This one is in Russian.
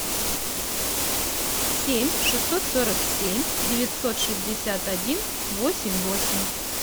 семь шестьсот сорок семь девятьсот шестьдесят один восемь восемь